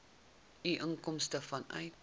u inkomste vanuit